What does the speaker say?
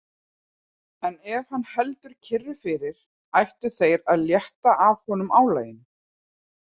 En ef hann heldur kyrru fyrir, ættu þeir að létta af honum álaginu.